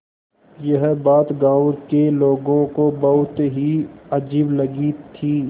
यह बात गाँव के लोगों को बहुत ही अजीब लगी थी